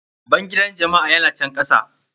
Bangidan jama'a ya na can kasa.